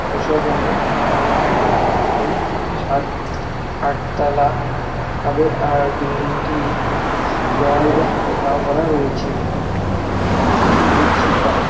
ধূসর রঙের এবং বিল্ডিং গুলি সাত আট তলা হবে আর বিল্ডিং -টি দেওয়াল দিয়ে ঘেরাও করা রয়েছে ও কিছু শি -শিক দ্বারা ।